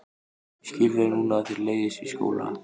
Ég skil vel núna að þér leiðist í skóla.